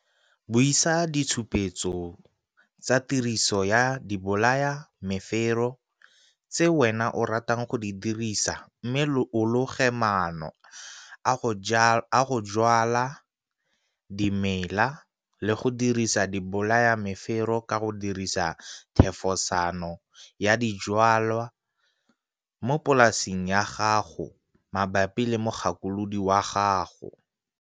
Buisa ditshupetso tsa tiriso ya dibolayamefero tse wena o ratang go di dirisa mme o loge maano a go jwala dimela le go dirisa dibolayamefero ka go dirisa thefosano ya dijwalwa mo polaseng ya gago mabapi le mogakolodi wa gago.